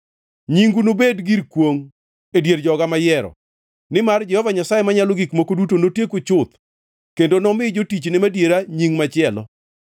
Nyingu nobed gir kwongʼ e dier joga mayiero, nimar Jehova Nyasaye Manyalo Gik Moko Duto notieku chuth, kendo nomi jotichne madiera nying machielo.